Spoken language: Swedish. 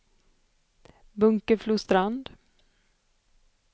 Bunkeflostrand